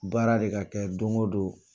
Baara de ka kɛ don o don